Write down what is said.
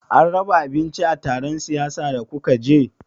An raba abinci a taron siyasan da kuka je?